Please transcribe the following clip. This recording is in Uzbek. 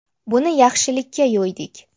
Buni yaxshilikka yo‘ydik.